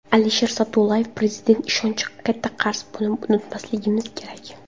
Alisher Sa’dullayev: Prezident ishonchi katta qarz, buni unutmasligimiz kerak.